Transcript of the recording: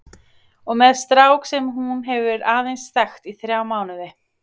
Og með strák sem hún hefur aðeins þekkt í þrjá mánuði.